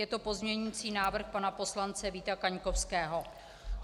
Je to pozměňující návrh pana poslance Víta Kaňkovského.